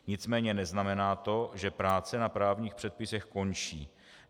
Nicméně neznamená to, že práce na právních předpisech končí.